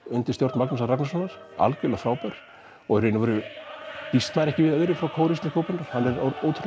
undir stjórn Magnúsar Ragnarssonar algjörlega frábær og í raun býst maður ekki við öðru frá kór Íslensku óperunnar hann er